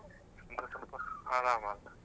ಅಂದ್ರೆ ಸ್ವಲ್ಪ ಆರಾಮ ಅಲ.